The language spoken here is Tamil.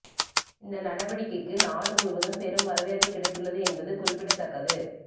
இந்த நடவடிக்கைக்கு நாடு முழுவதும் பெரும் வரவேற்பு கிடைத்துள்ளது என்பது குறிப்பிடத்தக்கது